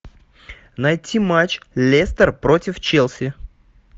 найти матч лестер против челси